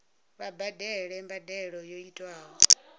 vha badele mbadelo yo tiwaho